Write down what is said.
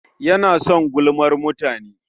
Yana son gulmar mutane.